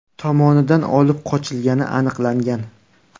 tomonidan olib qochilgani aniqlangan.